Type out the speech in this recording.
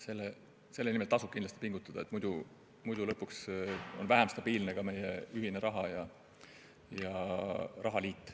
Selle nimel tasub pingutada, sest muidu on lõpuks vähem stabiilne ka meie ühine raha ja rahaliit.